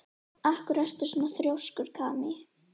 Af hverju ertu svona þrjóskur, Kamí?